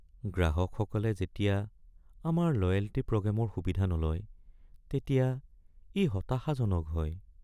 গ্ৰাহকসকলে যেতিয়া আমাৰ লয়েল্টী প্ৰগ্ৰেমৰ সুবিধা নলয় তেতিয়া ই হতাশাজনক হয়।